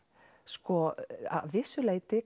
sko að vissu leyti